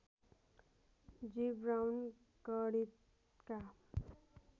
जिब्राउन गणितका